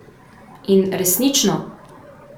In, resnično!